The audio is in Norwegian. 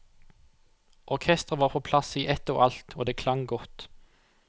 Orkestret var på plass i ett og alt, og det klang godt.